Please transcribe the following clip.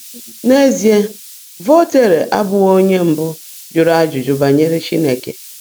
N’ezie, Voltaire abụghị onye mbụ jụrụ ajụjụ banyere Chineke.